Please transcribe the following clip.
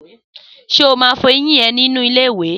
Sé o má n fọyín e nínú ilé ìwè?